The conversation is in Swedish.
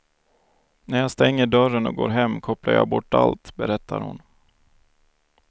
När jag stänger dörren och går hem kopplar jag bort allt, berättar hon.